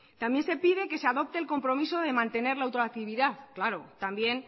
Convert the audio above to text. también se pide que se adopte el compromiso de mantener la ultractividad claro también